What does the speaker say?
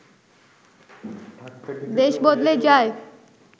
দেশ বদলে যায়